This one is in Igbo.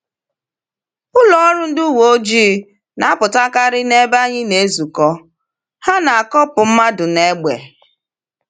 Ụlọọrụ ndị uweojii na-apụtakarị n’ebe anyị na-ezukọ, ha na-akọpụ mmadụ n’egbe.